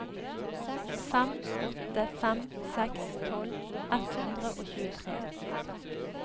fem åtte fem seks tolv ett hundre og tjuetre